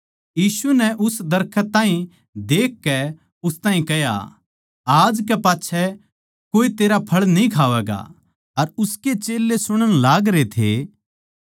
यीशु नै उस दरखत ताहीं देखकै उस ताहीं कह्या आज कै पाच्छै कोए तेरा फळ न्ही खावैगा अर उसकै चेल्लें सुणण लागरे थे